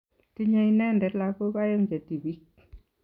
Tinye ineendet lagok aeng' che tibik.